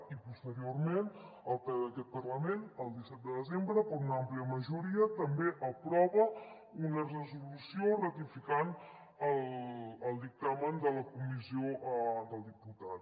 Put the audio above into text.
i posteriorment el ple d’aquest parlament el disset de desembre per una àmplia majoria també aprova una resolució ratificant el dictamen de la comissió del diputat